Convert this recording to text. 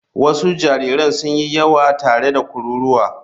Wasu jariran sun yi yawa tare da kururuwa.